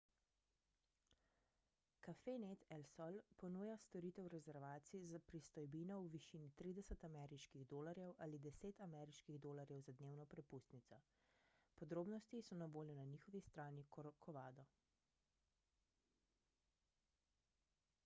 cafenet el sol ponuja storitev rezervacij za pristojbino v višini 30 ameriških dolarjev ali 10 ameriških dolarjev za dnevno prepustnico podrobnosti so na voljo na njihovi strani corcovado